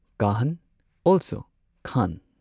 ꯀꯥꯍꯟ ꯑꯣꯜꯁꯣ ꯈꯥꯟ